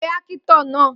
Pe ákítọ̀ naa